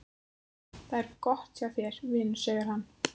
Það er gott hjá þér, vinur, segir hann.